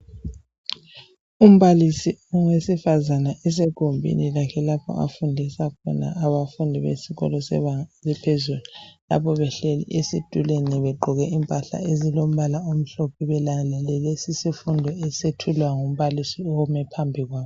Umbalisi wesifazana esegumbini lakhe afundisa khona abafundi besikolo sebenga eliphezulu lapho behleli begqoke impahla ezilombala omhlophe mayelana lalesi isifundo esethulwa ngumbalisi omi phambikwabo.